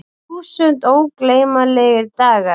Þúsund ógleymanlegir dagar.